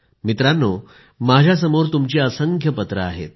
मित्रांनो माझ्यासमोर तुमची असंख्य पत्रे आहेत